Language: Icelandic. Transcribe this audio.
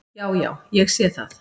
"""Já, já. ég sé það."""